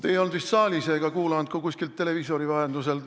Te ei olnud vist saalis ega kuulanud istungit ka kuskil televiisori vahendusel.